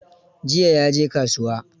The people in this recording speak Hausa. jiya ya je kasuwa.